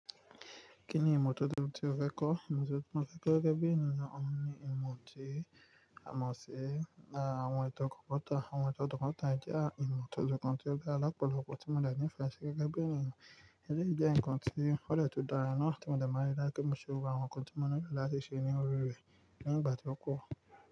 Kí ni ìmọ̀ tuntun tí ó fẹ́ kọ́? Ìmọ̀ tí mo fẹ́ kọ́ gẹ́gẹ́ bí ènìyàn ni ìmọ̀ tí a mọ̀ sí àwọn ètò kọ̀mputa. Àwọn ètò kọ̀kọ̀tàn jẹ́ ìmọ̀ ọ̀tọ̀ ọ̀tọ̀ kan tí ó dá alápọ̀lọpọ̀ tí mo le ní ìfẹ́ sí gẹ́gẹ́ bí ènìyàn. Ẹni jẹ́ ǹkan tí ó dè tún dàrayà náà tí mo dàmá like kí n mọ̀ se àwọn ǹkan tí mo ní láti ṣe ní orí rẹ̀ ní ìgbà tí ó kù.